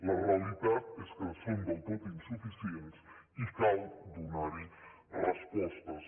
la realitat és que són del tot insuficients i cal donar hi respostes